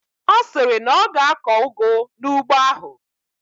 Ọ sịrị na ọ ga-akọ ụgụ n'ugbo ahụ.